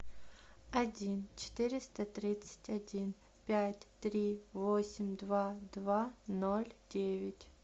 один четыреста тридцать один пять три восемь два два ноль девять